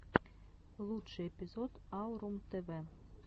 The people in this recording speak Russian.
лучший эпизод аурум тв